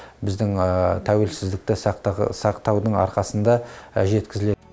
біздің тәуелсіздікті сақтаудың арқасында жеткізіледі